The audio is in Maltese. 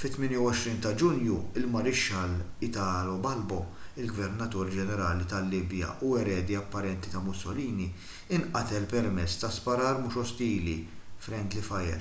fit-28 ta’ ġunju il-marixxall italo balbo il-gvernatur ġenerali tal-libja u eredi apparenti ta’ mussolini inqatel permezz ta’ sparar mhux ostili friendly fire”